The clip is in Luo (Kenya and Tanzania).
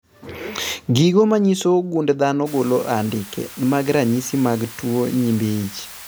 Gigo manyiso gund dhano golo andike mag ranyisi mag tuo nyimbi ich